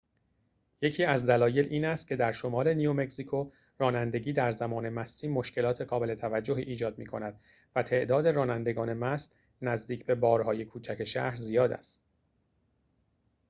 یکی از دلایل این است که در شمال نیومکزیکو رانندگی در زمان مستی مشکلات قابل توجهی ایجاد می‌کند و تعداد رانندگان مست نزدیک به بار‌های کوچک شهر زیاد است